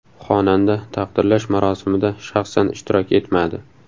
Xonanda taqdirlash marosimida shaxsan ishtirok etmadi.